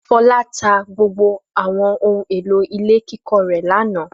Fọlá tá gbogbo àwọn ohun-èlò ilé kíkọ́ rẹ̀ lánàá.